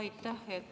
Aitäh!